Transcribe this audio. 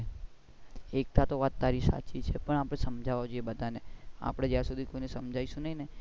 એકતા તો વાત તારી સાચી છે પણ આપણે સમજવા જોઈએ બધા ને આપણે જ્યાં સુધી સમજાઇ શું નહિ ને